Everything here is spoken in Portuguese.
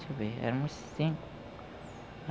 Deixe-me ver, éramos cinco.